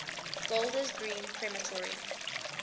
golders green crematorium